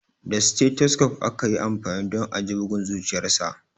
Da stethoscope aka yi amfani don a ji bugun zuciyarsa.